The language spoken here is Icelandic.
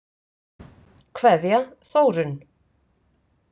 Kveðja, Þórunn.